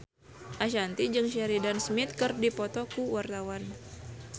Ashanti jeung Sheridan Smith keur dipoto ku wartawan